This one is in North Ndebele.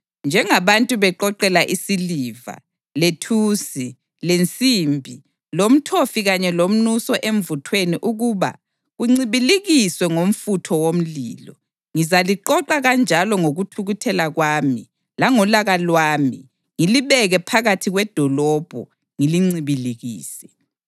Njengabantu beqoqela isiliva, lethusi, lensimbi, lomthofi kanye lomnuso emvuthweni ukuba kuncibilikiswe ngomfutho womlilo, ngizaliqoqa kanjalo ngokuthukuthela kwami langolaka lwami ngilibeke phakathi kwedolobho ngilincibilikise.